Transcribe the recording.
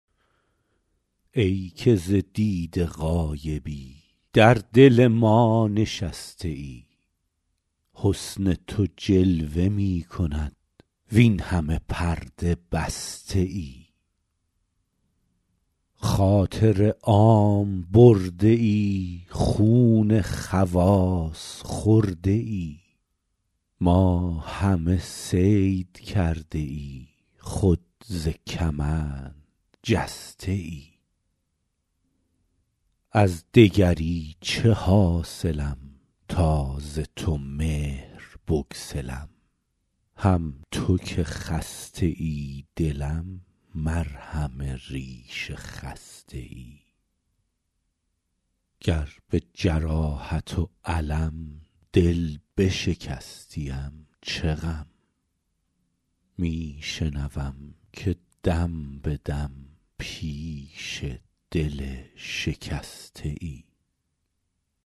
ای که ز دیده غایبی در دل ما نشسته ای حسن تو جلوه می کند وین همه پرده بسته ای خاطر عام برده ای خون خواص خورده ای ما همه صید کرده ای خود ز کمند جسته ای از دگری چه حاصلم تا ز تو مهر بگسلم هم تو که خسته ای دلم مرهم ریش خسته ای گر به جراحت و الم دل بشکستیم چه غم می شنوم که دم به دم پیش دل شکسته ای